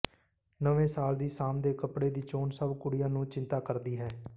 ਨਵੇਂ ਸਾਲ ਦੀ ਸ਼ਾਮ ਦੇ ਕੱਪੜੇ ਦੀ ਚੋਣ ਸਭ ਕੁੜੀਆਂ ਨੂੰ ਚਿੰਤਾ ਕਰਦੀ ਹੈ